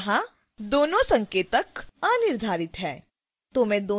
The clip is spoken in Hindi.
यहां दोनों संकेतक अनिर्धारित हैं